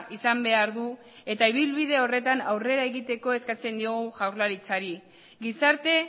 izan behar du eta ibilbide horretan aurrera egiteko eskatzen diogu jaurlaritzari gizarte